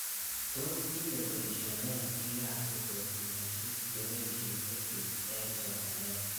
Tos tinye poisho nee pik ab kokwatunoshek ye poishe EdTech eng' somanet